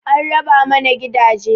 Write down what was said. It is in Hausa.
An raba mana gidaje